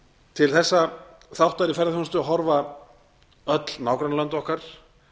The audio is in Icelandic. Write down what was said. til þessa þáttar í ferðaþjónustu horfa öll nágrannalönd okkar